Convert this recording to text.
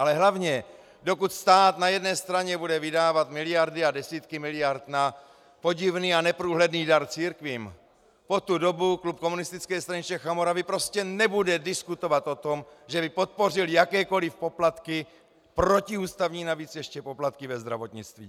Ale hlavně dokud stát na jedné straně bude vydávat miliardy a desítky miliard na podivný a neprůhledný dar církvím, po tu dobu klub Komunistické strany Čech a Moravy prostě nebude diskutovat o tom, že by podpořil jakékoliv poplatky, protiústavní navíc ještě, poplatky ve zdravotnictví!